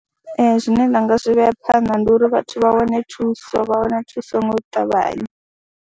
Ee, zwine nda nga zwi vhea phanḓa ndi uri vhathu vha wane thuso vha wane thuso ngo ṱavhanya.